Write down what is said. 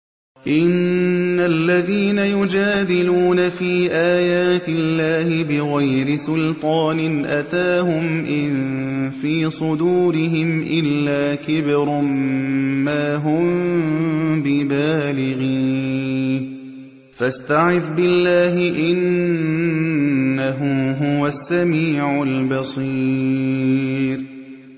إِنَّ الَّذِينَ يُجَادِلُونَ فِي آيَاتِ اللَّهِ بِغَيْرِ سُلْطَانٍ أَتَاهُمْ ۙ إِن فِي صُدُورِهِمْ إِلَّا كِبْرٌ مَّا هُم بِبَالِغِيهِ ۚ فَاسْتَعِذْ بِاللَّهِ ۖ إِنَّهُ هُوَ السَّمِيعُ الْبَصِيرُ